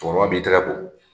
Cɛkɔrɔba b'i tigɛ ko